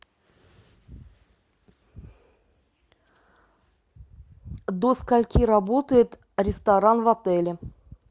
до скольки работает ресторан в отеле